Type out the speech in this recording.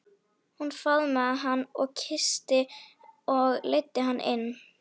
Hún faðmaði hann og kyssti og leiddi hann inn.